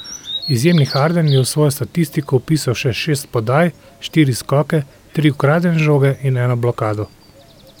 Izjemni Harden je v svojo statistiko vpisal še šest podaj, štiri skoke, tri ukradene žoge in eno blokado.